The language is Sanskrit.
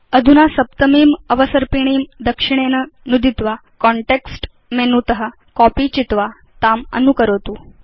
अधुना सप्तमीम् अवसर्पिणीं दक्षिणेन नुदित्वा कान्टेक्स्ट मेनु त कॉपी चित्वा ताम् अनुकरोतु